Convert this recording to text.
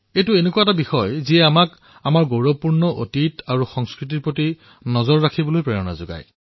এয়া এনেকুৱা এক বিষয় যি আমাক আমাৰ গৌৰৱপূৰ্ণ ইতিহাস আৰু সংস্কৃতি প্ৰত্যক্ষ কৰাৰ বাবে উৎসাহিত কৰে